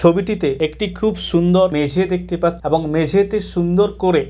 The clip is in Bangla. ছবিটিতে একটি খুব সুন্দর মেঝে দেখতে পাচ এবং মেঝেতে সুন্দর করে।